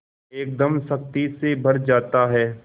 एकदम शक्ति से भर जाता है